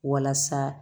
Walasa